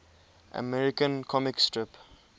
american comic strip